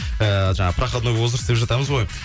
ыыы жаңағы проходной возраст деп жатамыз ғой